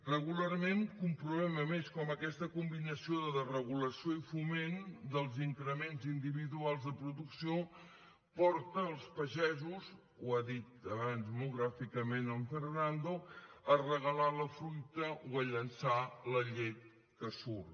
regularment comprovem a més com aquesta combinació de desregulació i foment dels increments individuals de producció porta els pagesos ho ha dit abans molt gràficament en fernando a regalar la fruita o a llençar la llet que surt